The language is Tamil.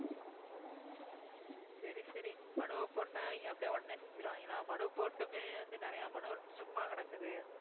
சரி சரி மனுவை போட்டா இவங்க அப்படியே உடனே செஞ்சுடுவாங்களா மனு போட்டுமே வந்து நிறைய மனு வந்து சும்மா கிடக்குது.